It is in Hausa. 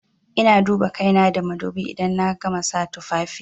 Ina duba kaina da madubi idan na gama sa tufafi.